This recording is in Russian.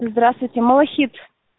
здравствуйте малахит